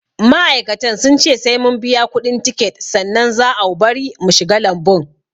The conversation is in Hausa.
Ma'aikatan sun ce sai mun biya kuɗin tiket sannan za au bari mu shiga lambun